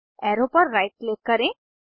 arrow पर right click करें